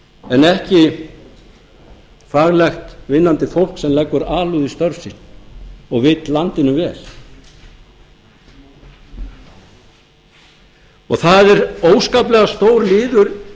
en ekki daglegt vinnandi fólk sem leggur alúð í störf sín og vill landinu vel það er óskaplega stór liður